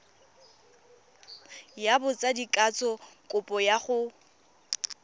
ya botsadikatsho kopo ya go